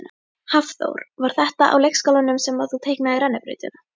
Hafþór: Var þetta á leikskólanum sem að þú teiknaðir rennibrautina?